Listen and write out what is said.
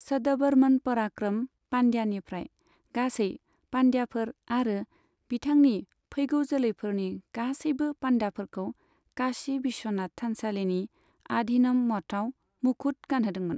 सदबर्मन पराक्रम पान्ड्यानिफ्राय गासै पान्ड्याफोर आरो बिथांनि फैगौ जोलैफोरनि गासैबो पान्ड्याफोरखौ काशी बिश्वनाथ थानसालिनि आधीनम मठआव मुखुट गानहोदोंमोन।